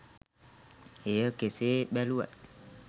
එය කෙසේ බැලුවත්